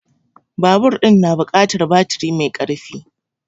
Babur ɗin na buƙatar baturi mai karfi